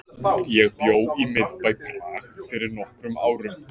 Ég bjó í miðbæ Prag fyrir nokkrum árum.